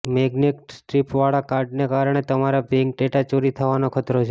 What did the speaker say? magnetic સ્ટ્રિપવાળા કાર્ડને કારણે તમારો બેંક ડેટા ચોરી થવાનો ખતરો છે